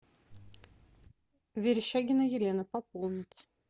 верещагина елена пополнить